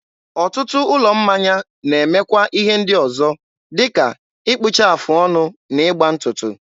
ọtụtụ ụlọ mmanya na-emekwa ihe ndị ọzọ dịka ịkpụcha afụ ọnụ na ịgba ntụtụ.